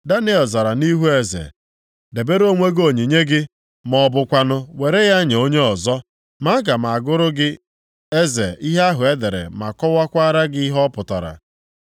Daniel zara nʼihu eze, “Debere onwe gị onyinye gị, ma ọ bụkwanụ were ya nye onye ọzọ. Ma aga m agụrụ gị eze ihe ahụ e dere ma kọwakwara gị ihe ọ pụtara.